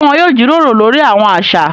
Ṣe wọn yóò jíròrò lórí awọn aṣa?